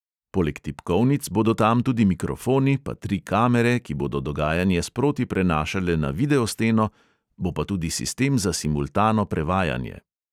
Poleg tipkovnic bodo tam tudi mikrofoni, pa tri kamere, ki bodo dogajanje sproti prenašale na videosteno, bo pa tudi sistem za simultano prevajanje.